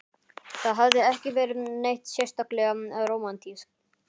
Það hafði ekki verið neitt sérstaklega rómantískt.